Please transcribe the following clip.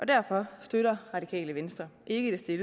derfor støtter radikale venstre ikke det